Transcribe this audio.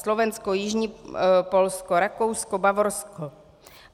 Slovensko, jižní Polsko, Rakousko, Bavorsko.